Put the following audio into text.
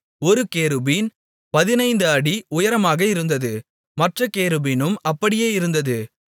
ஒரு கேருபீன் 15 அடி உயரமாக இருந்தது மற்றக் கேருபீனும் அப்படியே இருந்தது